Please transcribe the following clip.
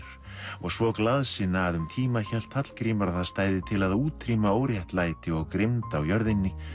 og svo glaðsinna að um tíma hélt Hallgrímur að það stæði til að útrýma óréttlæti og grimmd á jörðinni